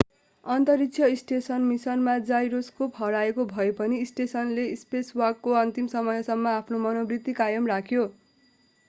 अन्तरिक्ष स्टेसन मिसनमा जाइरोस्कोप हराएका भए पनि स्टेसनले स्पेसवाकको अन्तिम समयसम्म आफ्नो मनोवृत्ति कायम राख्यो